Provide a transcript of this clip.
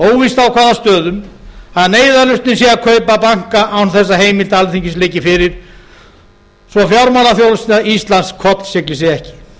óvíst á hvaða stöðum að neyðarlausnin sé að kaupa banka án þess að heimild alþingis liggi fyrir svo að fjármálaþjónusta íslands kollsigli sig ekki væri